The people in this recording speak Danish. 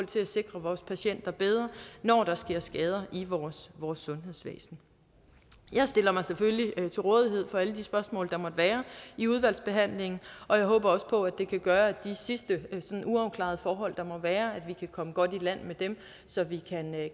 til at sikre vores patienter bedre når der sker skader i vores vores sundhedssystem jeg stiller mig selvfølgelig til rådighed for alle de spørgsmål der måtte være i udvalgsbehandlingen og jeg håber også på at det kan gøre at de sidste uafklarede forhold der måtte være kan komme godt i land med dem så vi